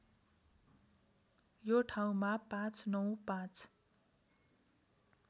यो ठाउँमा ५९५